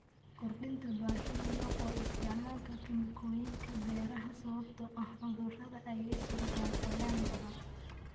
Kordhinta baahida loo qabo isticmaalka kiimikooyinka beeraha sababtoo ah cudurrada ay sababaan qoyaan badan.